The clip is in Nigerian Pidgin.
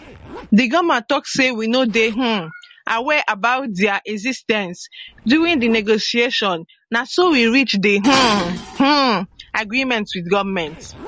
di grnma tok say we no dey um aware about dia exis ten ce during di negotiation na so we reach di um um agreement wit goment